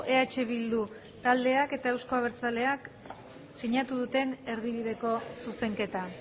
eh bildu taldeak eta euzko abertzaleak sinatu duten erdibideko zuzenketa